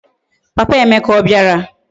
Papa Emeka obiara?